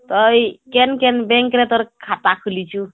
ତ ଏଇ କେନ କେନ bank ରେ ତୋର ଖାତା ଖୁଲିଛୁ